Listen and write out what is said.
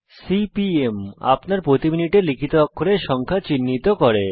CPM আপনার দ্বারা প্রতি মিনিটে লিখিত অক্ষরের সংখ্যা চিহ্নিত করে